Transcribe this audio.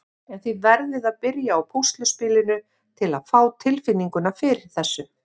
En þið verðið að byrja á púsluspilinu til að fá tilfinninguna fyrir þessu.